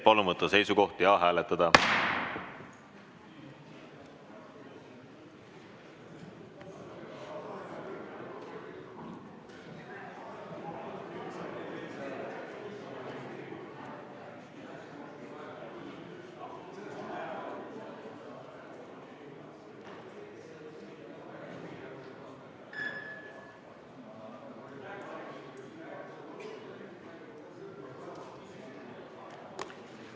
Palun võtta seisukoht ja hääletada!